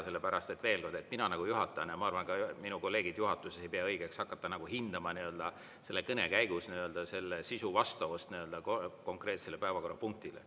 Sellepärast et, veel kord, mina juhatajana ja ma arvan, et ka minu kolleegid juhatuses, ei pea õigeks hakata hindama selle kõne käigus selle sisu vastavust konkreetsele päevakorrapunktile.